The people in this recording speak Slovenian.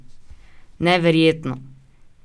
Neverjetno!